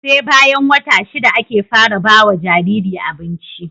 SE bayan wata shida ake fara bawa Jariri abinci